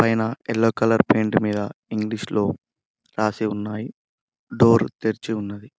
నేనా yellow colour paint మీద English లో రాసి ఉన్నాయి డోర్ తెరిచి ఉన్నది.